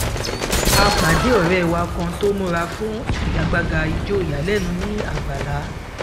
à pàdé ọrẹ wa kan tó múra fún ìfigagbága ijó ìyalẹnu ní àgbàlá